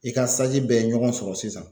I ka bɛ ɲɔgɔn sɔrɔ sisan.